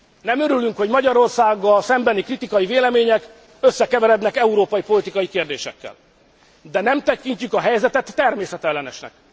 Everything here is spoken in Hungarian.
Nem örülünk, hogy Magyarországgal szembeni kritikai vélemények összekeverednek európai politikai kérdésekkel, de nem tekintjük a helyzetet természetellenesnek.